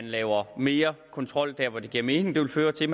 lavet mere kontrol der hvor det giver mening det vil føre til at